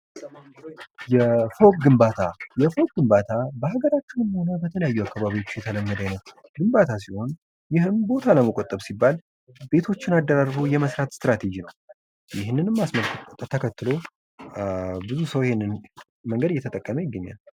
የፎቀ ግንባታ የፎቀ ግንባታ በሀገራችንመ ሆነ በተለያዩ አካባቢዎች የተለመደ ግንባታ ሲሆን ይህም ቦታ ለመቆጠብ ሲባል ቤቶችን አደራርቦ የመስራት ስትራቴጂ ነው። ይህንንም አስከትሎ ብዙ ሰው ይንን መንገድ እየተጠቀመ ይገኛል።